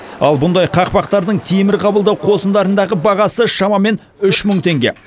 ал бұндай қақпақтардың темір қабылдау қосындарындағы бағасы шамамен үш мың теңге